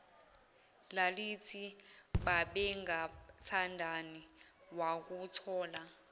lalithi babengathandani wakuthola